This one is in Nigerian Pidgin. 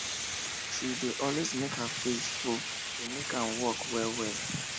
she dey always make her fridge full to make am work well well